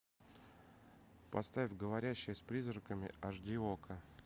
поставь говорящая с призраками айч ди окко